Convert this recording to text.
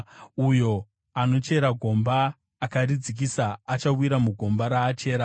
Uyo anochera gomba, akaridzikisa achawira mugomba raachera.